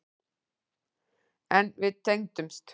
En við tengdumst.